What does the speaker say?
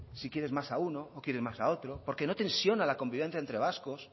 si quieres más a uno o quieres más otro porque no tensiona la convivencia entre vascos